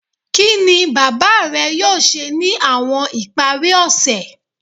Kini baba rẹ yoo ṣe ni awọn ipari ose?